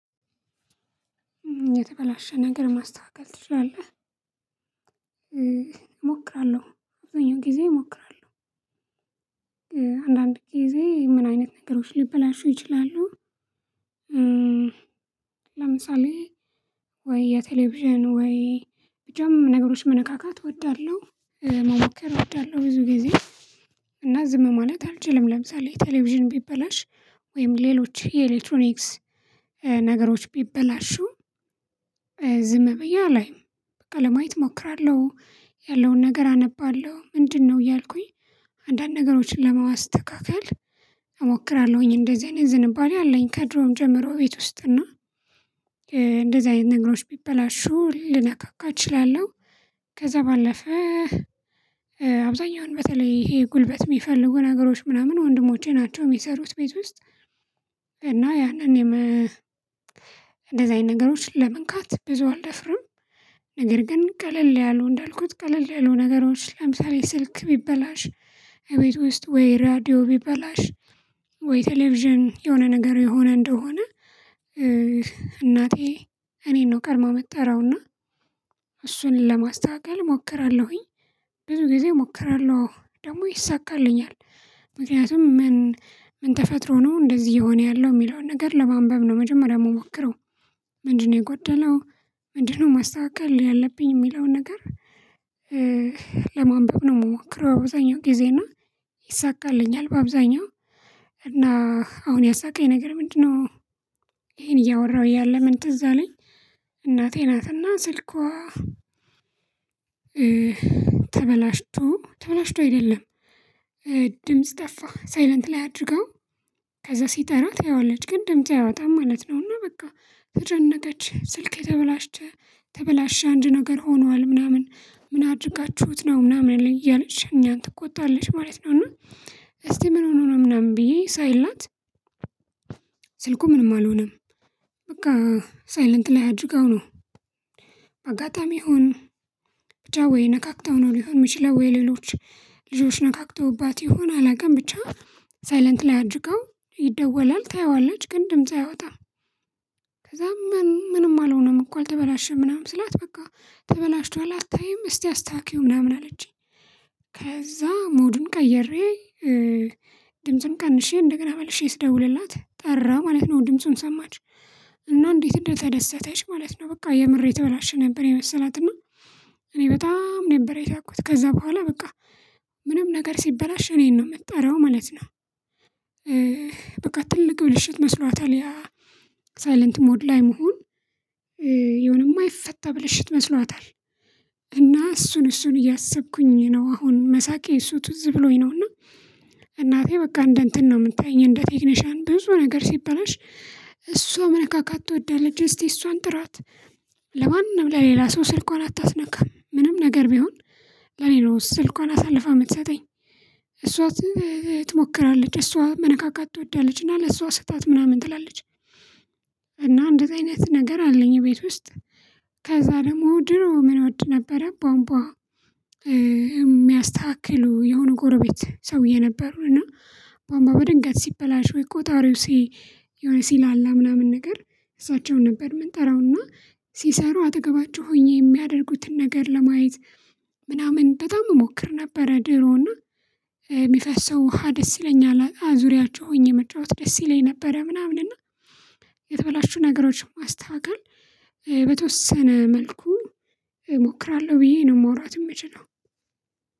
የተበላሸ ነገር ማስተካከል ትችላለህ? እሞክራለሁ አብዛኛው ጊዜ እሞክራለሁ። አንዳንድ ጊዜ ምን አይነት ነገሮች ልበላሹ ይችላሉ? ለምሳሌ ወይ የቴሌቪዥን ወይ ብቻ ነገሮች መነካካት እወዳለሁ። መሞከር እወዳለሁ ብዙ ጊዜ። እና ዝም ማለት አልችልም ለምሳሌ የቴሌቪዥን ቢበላሽ ወይም ሌሎች የኤሌክትሮኒክስ ነገሮች ቢበላሹ። ዝም ብዬ አላይም በቃ ለማየት እሞክራለሁ ያለውን ነገር አነባለሁ ምንድነው እያልኩኝ? አንዳንድ ነገሮችን ለማስ ተካክል እሞክራለሁኝ እንደዚህ አይነት ዝንባሌ አለኝ። ከድሮም ጀምሮ ቤት ውስጥ እና እንደዚህ አይነት ነገሮች ቢበላሹ ልነካካ እችላለሁ። ከዛ ባለፈ አብዛኛውን በተለይ ይሄ ጉልበት የሚፈልጉ ነገሮች ምናምን ወንድሞቼ ናቸው የሚሰሩት ቤት ውስጥ። እና ያንን እኔም እንደዚህ አይነት ነገሮች ለመንካት ብዙ አልደፍርም። ነገር ግን ቀለል ያሉ እንዳልኩት ቀለል ያሉ ነገሮች ለምሳሌ ስልክ ቢበላሽ የቤቱ ውስጥ ወይ ሬድዮ ቢበላሽ ወይ ቴሌቪዥን የሆነ ነገር የሆነ እንደሆነ። እናቴ እኔን ነው ቀድማ የምትጠራውና እሱን ለማስተካከል እሞክራለሁኝ። ብዙ ጊዜ እሞክራለሁ አወ ደግሞ ይሳካልኛል። ምክንያቱም ምን ምን ተፈጥሮ ነው እንደዚህ የሆነ ያለው የሚለውን ነገር ለማንበብ ነው መጀመሪያ የምሞክረው። ምንድነው የጎደለው? ምንድነው ማስተካከል ያለብኝ የሚለውን ነገር? ለማንበብ ነው የምሞክረው። አብዛኛው ጊዜ እና ይሳካልኛል። በአብዛኛው እና አሁን ያሳቀኝ ነገር ምንድነው? ይሄን እያወራሁ እያለ ምን ትዝ አለኝ። እናቴ ናትና ስልኳ ተበላሽቶ ተበላሽቶ አይደለም። ድምጽ ጠፋ ሳይለንት ላይ አድርጋው። ከዛ ሲጠራ ታየዋለች ግን ድምጽ አይወጣም ማለት ነው። እና በቃ ተጨነቀች ስልኬ የተበላቸ ተበላሸ አንድ ነገር ሆኗል ምናምን ምን አድርጋችሁት ነው ምናምን እያለሽ እኛን ትቆጣለሽ ማለት ነው። እና እስቲ ምን ሆኖ ነው ምናምን ብዬ ሳይላት። ስልኩ ምንም አልሆነም። በቃ ሳይለንት ላይ አድርጋው ነው። አጋጣሚ ይሁን ብቻ ወይ ነካክታው ነው ሊሆን የሚችለው ወይ ሌሎች ልጆች ነካክተውባት ይሆን አላውቅም። ብቻ ሳይለንት ላይ አድርጋው ይደወላል ታየዋለች ግን ድምጽ አያወጣም። ከዛ ምን ምንም አልሆነም እኮ አልተበላሸም ምናምን ስላት በቃ ተበላሽቷል አታይም እስቲ አስተካክይው ምናምን አለችኝ። ከዛ ሞዱን ቀይሬ ድምፁን ቀንሼ እንደገና መልሼ ስደውልላት ጠራ ማለት ነው። ድምፁን ሰማች። እና እንዴት እንደተደሰተች ማለት ነው። በቃ የምር ተበላሽ ነበር የመሰላትና። እኔ በጣም ነበር የሳኩት ከዛ በኋላ በቃ ምንም ነገር ሲበላሽ እኔን ነው የምጠራው ማለት ነው። በቃ ትልቅ ብልሽት መስሏታል ያ። ሳይለንት ሞድ ላይ መሆን የሆነ የማይፈታ ብልሽት መስሏታል። እና እሱን እሱን እያሰብኩኝ ነው አሁን መሳቄ እሱ ትዝ ብሎኝ ነው እና። እናቴ በቃ እንደ እንትን ነው የምታየኝ እንደ ቴክኒሻን ብዙ ነገር ሲበላሽ። እሷ መነካካት ትወዳለች እስቲ እሷን ጥራት። ለማንም ለሌላ ሰው ስልኳን አታስነካም ምንም ነገር ቢሆን ለኔ ነው ስልኳን አሳልፋ የምትሰጠኝ። እሷ ትሞክራለች እሷ መነካካት ትወዳለች እና ለእሷ ስጧት ምናምን ትላለች። እና እንደዚያ አይነት ነገር አለኝ ቤት ውስጥ። ከዛ ደግሞ ድሮ ምን እወድ ነበረ ቧንቧ። እሚያስተካክሉ የሆነ ጎረቤት ሰውዬ ነበሩን እና ቧንቧ በድንገት ሲበላሽ ወይ ቆጣሪው ሲ የሆነ ሲላላ ምናምን ነገር። እሳቸውን ነበር ምንጠራውና ሲሰሩ አጠገባቸው ሆኜ የሚያደርጉትን ነገር ለማየት። ምናምን በጣም እሞክር ነበረ ድሮና። የሚፈሰው ውሃ ደስ ይለኛል ዙሪያቸው ሆኜ መጫወት ደስ ይለኝ ነበረ ምናምን እና። የተበላሹ ነገሮችን ማስተካከል በተወሰነ መልኩ እሞክራለሁ ብዬ ነው ማውራት የምችለው።